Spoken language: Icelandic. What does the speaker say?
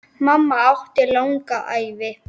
Mamma átti langa ævi.